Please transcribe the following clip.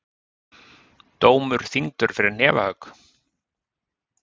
Dómur þyngdur fyrir hnefahögg